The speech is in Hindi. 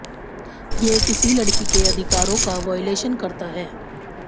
ये किसी लड़की के अधिकारों का वॉयलेशन करता है